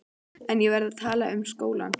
En ég verð að tala um skólann.